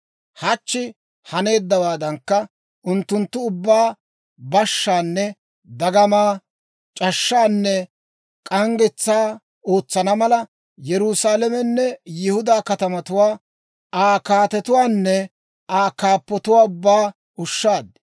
Hachchi haneeddawaadankka unttunttu ubbaa bashshaanne dagama, c'ashshaanne k'anggetsaa ootsana mala, Yerusaalamenne Yihudaa katamatuwaa, Aa kaatetuwaanne Aa kaappatuwaa ubbaa ushshaad.